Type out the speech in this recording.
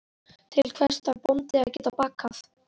Til hvers þarf bóndi að geta bakað?